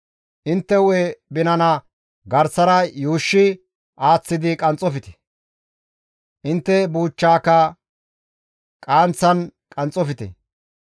« ‹Intte hu7e binana garsara yuushshi aaththidi qanxxofte; intte buuchchaaka qaanththan qanxxofte.